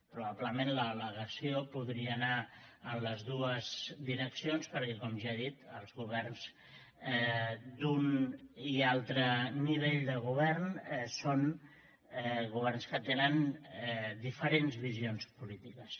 probablement l’al·legació podria anar en les dues direccions perquè com ja he dit els governs d’un i altre nivell de govern són governs que tenen diferents visions polítiques